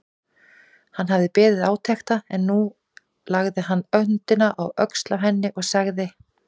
Hann hafði beðið átekta en nú lagði hann höndina á öxlina á henni og sagði